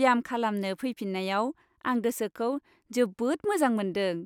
ब्याम खालामनो फैफिन्नायाव आं गोसोखौ जोबोद मोजां मोनदों।